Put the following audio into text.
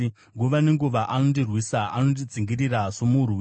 Nguva nenguva anondirwisa; anondidzingirira somurwi.